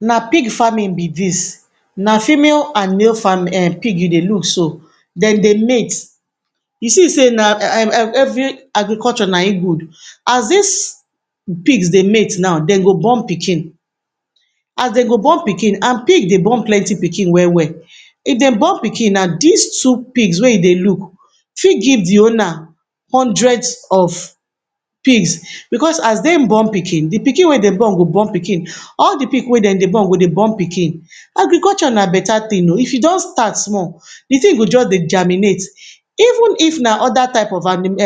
Na pig farming be dis. Na female and male farm um pig you dey look so. Dem dey mate. You see sey na um um every agriculture na im good. As dis pigs dey mate now, dem go born pikin. As dem go born pikin, and pig dey born plenty pikin well well. If dem born pikin now, dis two pigs wey you dey look fit give de owner hundreds of pigs, because as dem born pikin, de pikin wey dem born go born pikin. All de pig wey dem dey born go dey born pikin. Agriculture na beta thing o. If you just start small, de thing go just dey germinate. Even if na other type of um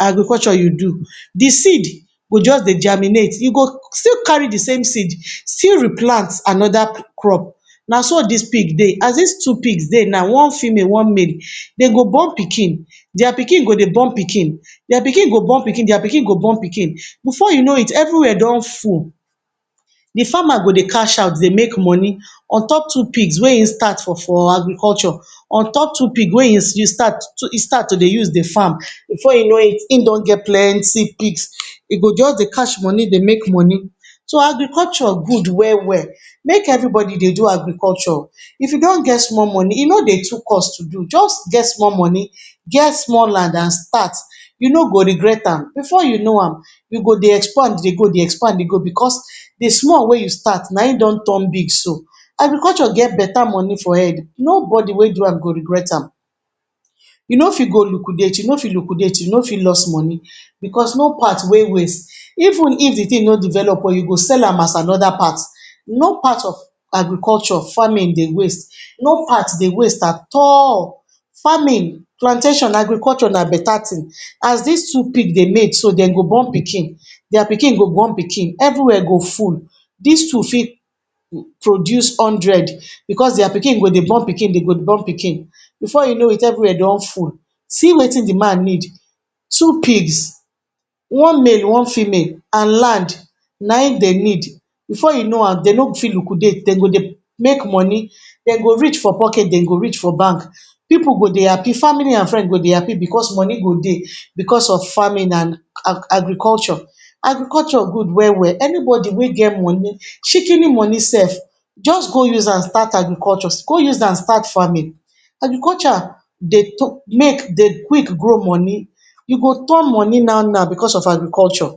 agriculture you do, de seed go just dey germinate, you go still carry de same seed still replant another crop. Na so dis pig dey. As dis two pigs dey now, one female one male, dem go born pikin, dia pikin go dey born pikin, dia pikin go born pikin, dia pikin go born pikin. Before you know it, every where don full. De farmer go dey cash out dey make moni on top two pigs wey im start for for agriculture, on top two pigs wey im use start e start to dey use dey farm. Before you know it, im don get plenty pigs. E go just dey cash moni dey make moni. So agriculture good well well. Make everybody dey do agriculture. If you don get small moni, e no dey too cost to do. Just get small moni, get small land and start, you no go regret am. Before you know am, you go dey expand dey go, dey expand dey go, because de small wey you start na im don turn big so. Agriculture get beta moni for head. Nobody wey do am go regret am. You no fit go liquidate, you no fit liquidate, you no fit lost money, because no part wey waste. Even if de thing no develop well, you go sell am as another part. No part of agriculture, farming dey waste, no part dey waste at all. Farming, plantation, agriculture na beta thing. As dis two pig dey mate so, dem go born pikin. Dia pikin go born pikin. Everywhere go full. Dis two fit produce hundred because dia pikin go dey born pikin, dey go dey born pikin, before you know it everywhere don full. See wetin de man need. Two pigs, one male one female, and land, na im dey need, before you know am dey no fit liquidate, dem go dey make moni, dem go rich for pocket, dem go rich for bamk. Pipu go dey happy. Family and friends go dey happy because moni go dey, because of farming and agriculture. Agriculture good well well. Anybody wey get moni, shikini moni sef, just go use am start agriculture, go use am start farming. Agriculture dey make dey quick grow moni. You go turn moni now now because of agriculture.